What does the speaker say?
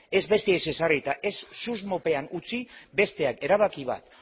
ez besteei ez ezarri eta ez susmopean utzi besteak erabaki bat